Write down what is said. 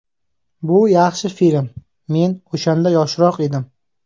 Bu yaxshi film, men o‘shanda yoshroq edim.